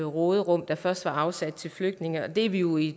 råderum der først var afsat til flygtninge og det er vi jo i